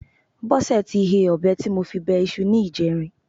Bọ́sẹ̀ ti he ọ̀bẹ tí mo fi bẹ iṣu ní ìjẹrin.